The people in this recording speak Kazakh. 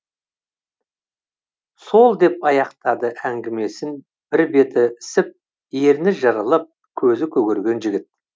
сол деп аяқтады әңгімесін бір беті ісіп еріні жырылып көзі көгерген жігіт